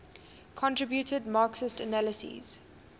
contributed marxist analyses